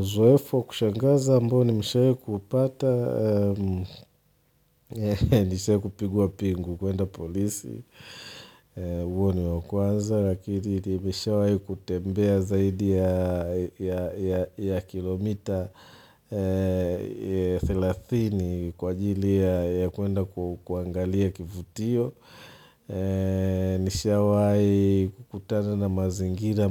Uzoefu wa kushangaza ambao nimeshawahi kupata, Nishawahi kupigwa pingu kuenda polisi. Huo ni wa kwanza. Ya pili, nimeshawahi kutembea zaidi ya kilomita thelathini kwa ajili ya kuenda kuangalia kivutio. Nishawahi kukutana na mazingira